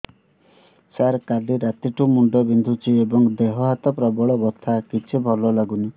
ସାର କାଲି ରାତିଠୁ ମୁଣ୍ଡ ବିନ୍ଧୁଛି ଏବଂ ଦେହ ହାତ ପ୍ରବଳ ବଥା କିଛି ଭଲ ଲାଗୁନି